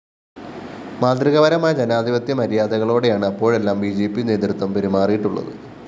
മാതൃകാപരമായ ജനാധിപത്യ മര്യാദകളോടെയാണ്‌ അപ്പോഴെല്ലാം ബി ജെ പി നേതൃത്വം പെരുമാറിയിട്ടുള്ളത്‌